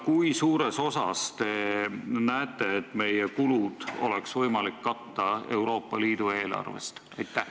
Kui suures osas oleks meie kulusid võimalik katta Euroopa Liidu eelarvest?